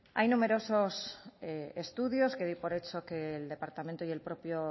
hay numerosos estudios que doy por hecho que el departamento y el propio